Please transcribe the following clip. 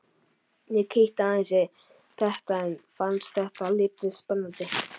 Ég kíkti aðeins í þetta en fannst það lítið spennandi.